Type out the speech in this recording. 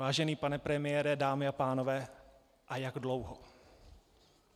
Vážený pane premiére, dámy a pánové, a jak dlouho?